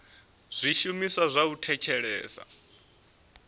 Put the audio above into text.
zwishumiswa zwa u thetshelesa na